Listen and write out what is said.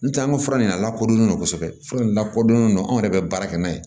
N tɛ an ka fura in de lakodɔnlen no kosɛbɛ fura in lakodɔnnen do an yɛrɛ bɛ baara kɛ n'a ye